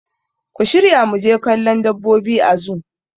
Ku shirya muje kallon dabbobi a zoo